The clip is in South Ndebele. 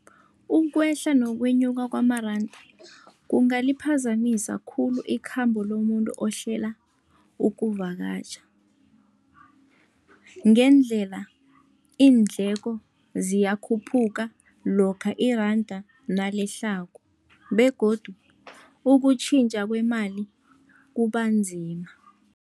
Ukwehla nokwenyuka kwamaranda, kungaliphazamisa khulu ikhambo lomuntu ohlela ukuvakatjha. Ngendlela iindleko ziyakhuphuka, lokha iranda nalehlako begodu ukutjhintjha kwemali kubanzima.